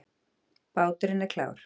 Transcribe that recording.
Báturinn er klár.